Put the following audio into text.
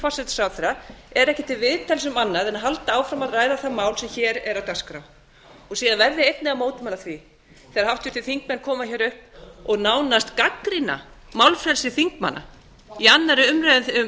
forsætisráðherra er ekki til viðtals um annað en halda áfram að ræða það mál sem hér er á dagskrá síðan verð ég einnig að mótmæla því þegar háttvirtir þingmenn koma hér upp og nánast gagnrýna málfrelsi þingmann í annarri umræðu